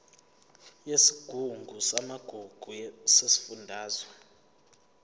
yesigungu samagugu sesifundazwe